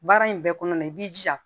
Baara in bɛɛ kɔnɔna na i b'i jija